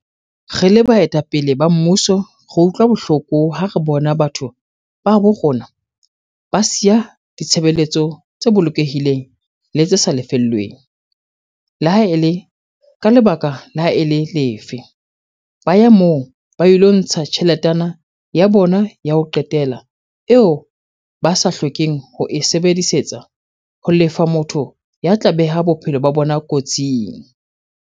"Re le baetapele ba mmuso re utlwa bohloko ha re bona batho ba habo rona ba siya ditshebeletso tse bolokehileng le tse sa lefellweng, le ha e le ka lebaka le ha e le lefe, ba ya moo ba ilo ntsha tjheletana ya bona ya ho qetela eo ba sa hlokeng ho e sebedisetsa ho lefa motho ya tla beha bophelo ba bona kotsing."